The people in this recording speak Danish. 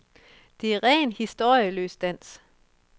Det er ren, historieløs dans.